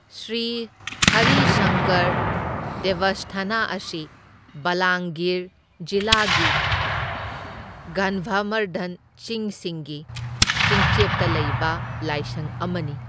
ꯁ꯭ꯔꯤ ꯍꯔꯤꯁꯪꯀꯔ ꯗꯦꯚꯁꯊꯥꯅꯥ ꯑꯁꯤ ꯕꯥꯂꯥꯡꯒꯤꯔ ꯖꯤꯂꯥꯒꯤ ꯒꯟꯙꯥꯃꯔꯙꯟ ꯆꯤꯡꯁꯤꯡꯒꯤ ꯆꯤꯡꯆꯦꯞꯇ ꯂꯩꯕ ꯂꯥꯏꯁꯪ ꯑꯃꯅꯤ꯫